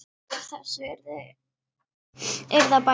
Úr þessu yrði að bæta.